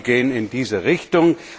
Ich hoffe, Sie gehen in diese Richtung.